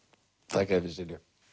þakka þér fyrir Silja